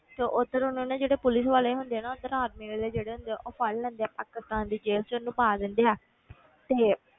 ਤੇ ਉੱਧਰ ਉਹਨੂੰ ਨਾ ਜਿਹੜੇ ਪੁਲਿਸ ਵਾਲੇ ਹੁੰਦੇ ਆ ਨਾ, ਉਹਦੇ army ਵਾਲੇ ਜਿਹੜੇ ਹੁੰਦੇ ਆ ਉਹ ਫੜ ਲੈਂਦੇ ਆ ਪਾਕਿਸਤਾਨ ਦੀ ਜੇਲ੍ਹ ਵਿੱਚ ਉਹਨੂੰ ਪਾ ਦਿੰਦੇ ਆ ਤੇ